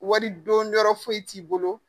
Wari don yɔrɔ foyi t'i bolo